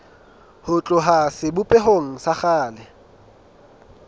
ho tloha sebopehong sa kgale